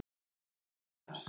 Þú heyrir svar.